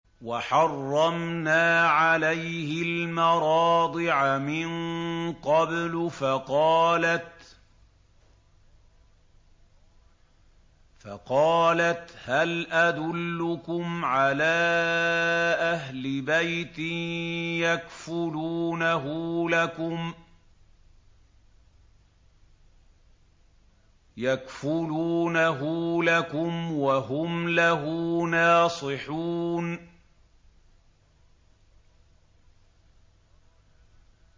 ۞ وَحَرَّمْنَا عَلَيْهِ الْمَرَاضِعَ مِن قَبْلُ فَقَالَتْ هَلْ أَدُلُّكُمْ عَلَىٰ أَهْلِ بَيْتٍ يَكْفُلُونَهُ لَكُمْ وَهُمْ لَهُ نَاصِحُونَ